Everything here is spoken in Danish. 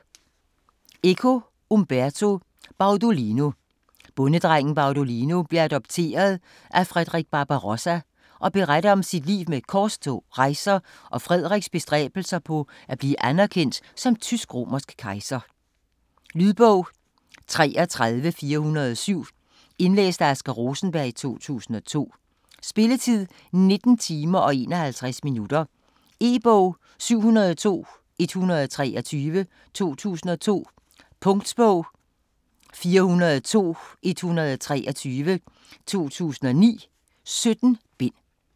Eco, Umberto: Baudolino Bondedrengen Baudolino bliver adopteret af Frederik Barbarossa og beretter om sit liv med korstog, rejser og Frederiks bestræbelser på at blive anderkendt som tysk-romersk kejser. Lydbog 33407 Indlæst af Asger Rosenberg, 2002. Spilletid: 19 timer, 51 minutter. E-bog 702123 2002. Punktbog 402123 2009. 17 bind.